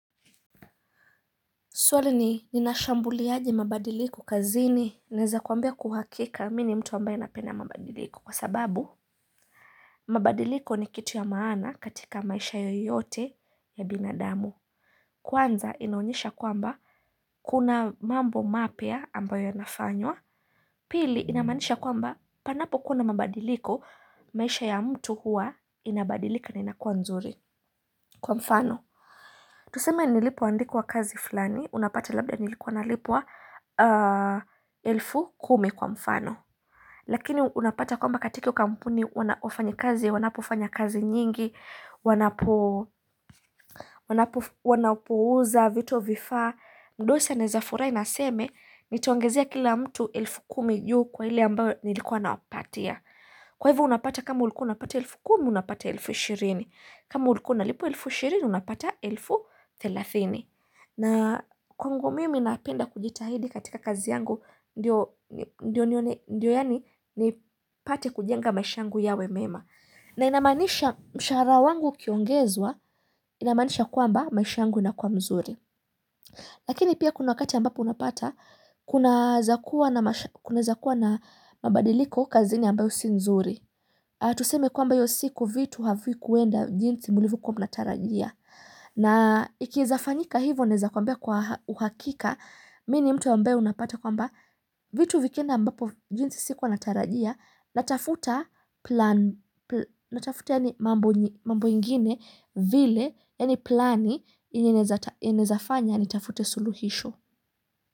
Swali ni ninashambuliaje mabadiliko kazini Naeza kuambia kwa uhakika mimi ni mtu ambayo napenda mabadiliko kwa sababu mabadiliko ni kitu ya maana katika maisha yoyote ya binadamu Kwanza inaonyesha kwamba kuna mambo mapya ambayo yanafanywa Pili inamaanisha kwamba panapo kuwa mabadiliko maisha ya mtu huwa inabadilika na inakuwa nzuri Kwa mfano Tuseme nilipoandikwa kazi fulani, unapata labda nilikuwa nalipwa elfu kumi kwa mfano. Lakini unapata kwamba katika hio kampuni, wafanya kazi, wanapofanya kazi nyingi, wanapouza vito vifaa. Mdosi anaezafurahi na aseme, nitaongezia kila mtu elfu kumi juu kwa ile ambayo nilikuwa nawapatia. Kwa hivo unapata kama ulikuwa unapata elfu kumi, unapata elfu ishirini. Kama ulikuwa unalipwa elfu shirini, unapata elfu thelathini. Na kwangu mimi napenda kujitahidi katika kazi yangu, ndio yaani nipate kujenga maisha yangu yawe mema. Na inamaanisha mshahara wangu ukiongezwa, inamaanisha kwamba maisha yangu inakuwa mzuri. Lakini pia kuna wakati ambapo unapata, kunaezakuwa na mabadiliko kazini ambayo si nzuri. Tuseme kwamba hiyo siku vitu havikuenda jinsi mlivyokuwa mnatarajia. Na ikiezafanyika hivo naeza kwambia kwa uhakika, mimi ni mtu ambaye unapata kwamba vitu vikienda ambapo jinsi sikuwa natarajia, natafuta plani, natafuta yaani mambo ingine vile, yaani plani yenye inaezafanya ni tafute suluhisho.